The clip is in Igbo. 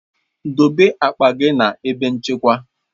Dobe akpa gị na ebe nchekwa!